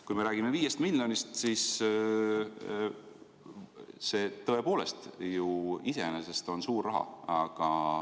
Kui me räägime 5 miljonist, siis see tõepoolest iseenesest on suur raha.